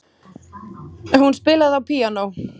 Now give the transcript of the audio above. Hún spilaði á píanó.